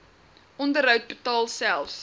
onderhoud betaal selfs